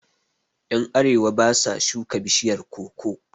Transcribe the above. Yan arewa basa shuka bishiyar koko